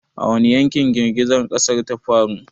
A wani yankin girgizar ƙasar ta faru?